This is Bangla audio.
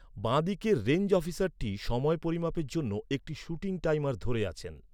বাঁদিকের রেঞ্জ অফিসারটি সময় পরিমাপের জন্য একটি শুটিং টাইমার ধরে আছেন।